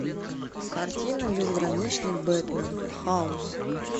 картина безграничный бэтмен хаос